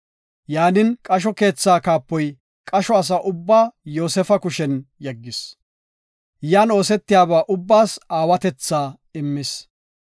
Yaanin, qasho keetha kaapoy qasho asa ubba Yoosefa kushen yeggis. Yan oosetiyaba ubbaas aawatetha immis.